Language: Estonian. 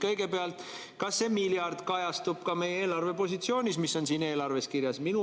Kõigepealt: kas see miljard kajastub ka meie eelarvepositsioonis, mis on siin eelarves kirjas?